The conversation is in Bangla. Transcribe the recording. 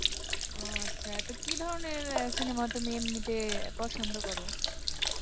ও আচ্ছা তো কি ধরনের আহ cinema তুমি এমনিতে পছন্দ করো?